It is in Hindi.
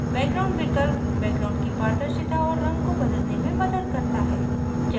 background विकल्प background की पारदर्शिता और रंग को बदलने में मदद करता है